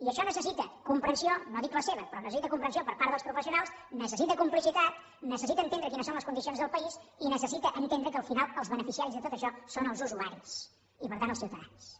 i això necessita comprensió no dic la seva però necessita comprensió per part dels professionals necessita complicitat necessita entendre quines són les condicions del país i necessita entendre que al final els beneficiaris de tot això són els usuaris i per tant els ciutadans